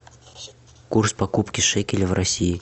курс покупки шекеля в россии